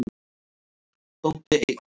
Bóndi einn.